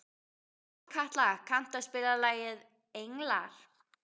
Sólkatla, kanntu að spila lagið „Englar“?